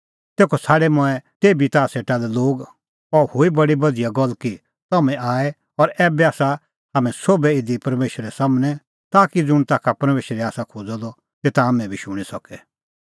तेखअ छ़ाडै मंऐं तेभी ताह सेटा लै लोग और अह हुई बडी बधिया गल्ल कि तम्हैं आऐ और ऐबै आसा हाम्हैं सोभै इधी परमेशरे सम्हनै ताकि ज़ुंण ताखा परमेशरै आसा खोज़अ द तेता हाम्हैं बी शूणीं सके